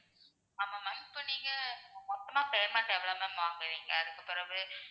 ஆமா ma'am இப்போ நீங்க மொத்தமா payment எவ்வளோ ma'am வாங்குவீங்க? அதுக்குப் பிறகு